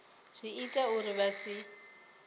zwi ita uri vha si